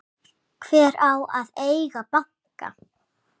Hver á að eiga banka?